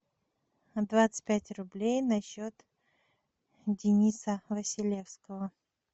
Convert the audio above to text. двадцать пять рублей на счет дениса василевского